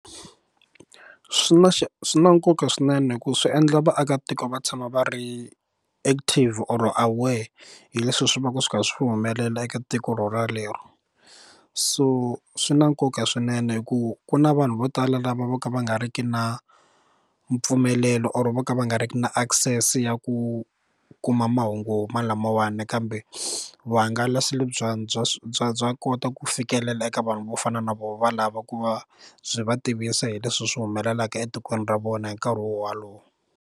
Swi na swi na nkoka swinene ku swi endla vaakatiko va tshama va ri active or aware hi leswi swi va ku swi kha swi humelela eka tiko rorolero so swi na nkoka swinene hi ku ku na vanhu vo tala lava vo ka va nga ri ki na mpfumelelo or vo ka va nga riki na access ya ku kuma mahungu ma lamawani kambe vuhangalasi bya bya bya bya kota ku fikelela eka vanhu vo fana na voho valava ku va byi va tivisa hi leswi swi humelelaka etikweni ra vona hi nkarhi wo walowo.